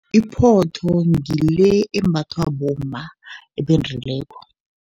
Iphotho ngile embathwa bomma ebendileko.